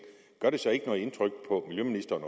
gør det så overhovedet ikke noget indtryk på miljøministeren